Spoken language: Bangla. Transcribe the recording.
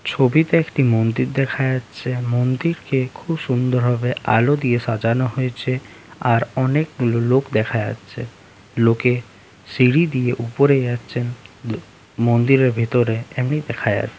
ছবিতে একটি মন্দির দেখা যাচ্ছে মন্দির কে খুউব সুন্দর ভাবে আলোদিয়ে সাজানো হয়েছে আর অনেক লোক দেখা যাচ্ছে লোকে সিঁড়ি দিয়ে উপরে যাচ্ছেন দো মন্দিরের ভিতরে এমনি দেখা যা--